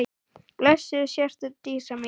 Blessuð sértu Dísa mín.